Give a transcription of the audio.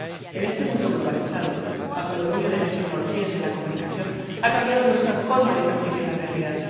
En este mundo globalizado, bajo el dominio de las tecnologías de la comunicación, ha cambiado nuestra forma de percibir la realidad.